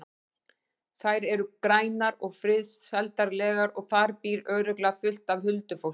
Þær eru grænar og friðsældarlegar og þar býr örugglega fullt af huldufólki.